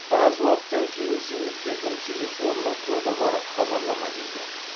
біраз уақыттан кейін зейнеткердің телефонына коды бар хабарлама келген